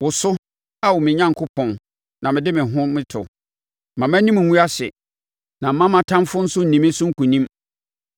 wo so, Ao me Onyankopɔn, na mede me ho to. Mma mʼanim ngu ase na mma mʼatamfoɔ nso nni me so nkonim.